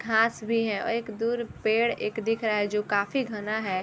घास भी है और एक दूर पेड़ एक दिख रहा है जो काफी घना है ।